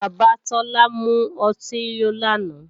Bàbá Tọ́lá mú ọtí yó lánàá